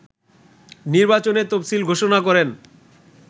নির্বাচনের তফসিল ঘোষণা করেন